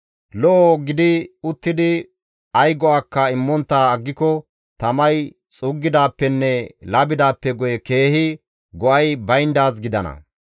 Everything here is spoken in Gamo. Lo7o gidi uttidi ay go7akka immontta aggiko tamay xuuggidaappenne labidaappe guye keehi go7ay bayndaaz gidana.